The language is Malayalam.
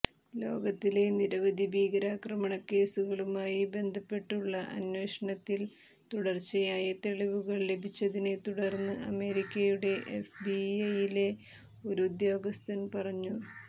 ലോകത്തിലെ നിരവധി ഭീകരാക്രമണക്കേസുകളുമായി ബന്ധപ്പെട്ടുള്ള അന്വേഷണത്തിൽ തുടച്ചയായ തെളിവുകൾ ലഭിച്ചതിനെ തുടർന്ന് അമേരിക്കയുടെ എഫ്ബിഐയിലെ ഒരു ഉദ്യോഗസ്ഥൻ പറഞ